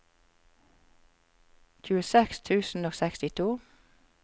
tjueseks tusen og sekstito